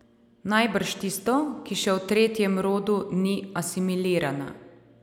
Najbrž tisto, ki še v tretjem rodu ni asimilirana.